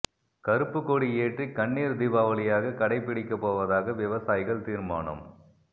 கறுப்புக்கொடி ஏற்றி கண்ணீர் தீபாவளியாக கடை பிடிக்கப் போவதாக விவசாயிகள் தீர்மானம்